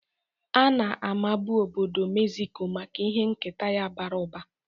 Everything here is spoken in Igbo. Ana-amabu obodo Mexico maka ihe nketa ya bara ụba.